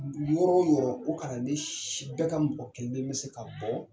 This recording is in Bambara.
Dugu yɔrɔ yɔrɔ o ka na ne bɛ ka mɔgɔ kelen bɛ se ka bɔ